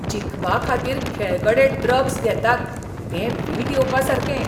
जिखपा खातीर खेळगडे ड्रग्स घेतात तें वीट येवपासारकें